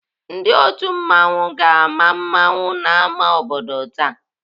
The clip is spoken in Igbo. Ndị otu mmanwụ ga-ama mmanwụ n'ámá obodo taa.